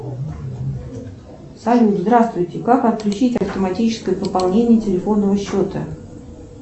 салют здравствуйте как отключить автоматическое пополнение телефонного счета